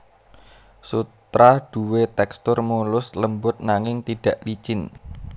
Sutra duwé tèkstur mulus lembut nanging tidak licin